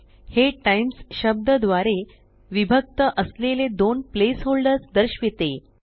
हे टाईम्स शब्दा द्वारे विभक्त असलेले दोन प्लेस होल्डर्स दर्शविते